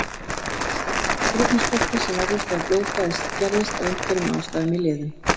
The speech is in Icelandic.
Það stafar af súrefnisskorti sem verður þegar blóðflæði skerðist af einhverjum ástæðum í liðum.